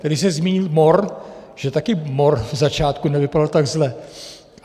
Tady se zmínil mor, že taky mor ze začátku nevypadal tak zle.